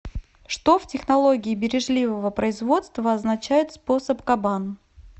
что в технологии бережливого производства означает способ кабан